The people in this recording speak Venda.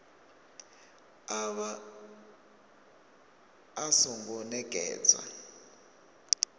a vha a songo nekedzwa